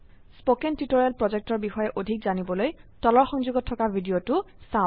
spoken tutorial projectৰ বিষয়ে অধিক জানিবলৈ তলৰ সংযোগত থকা ভিডিঅ চাওক